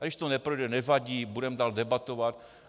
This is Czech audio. A když to neprojde, nevadí, budeme dál debatovat.